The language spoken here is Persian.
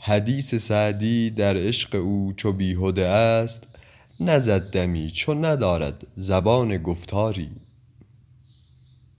حدیث سعدی در عشق او چو بیهده ا ست نزد دمی چو ندارد زبان گفتاری